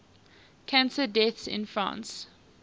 cancer deaths in france